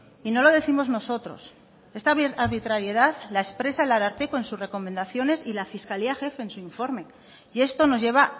y no lo décimos nosotros esta arbitrariedad la expresa el ararteko en sus recomendaciones y la fiscalía jefe en su informe y esto nos lleva